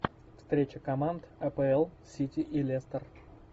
встреча команд апл сити и лестер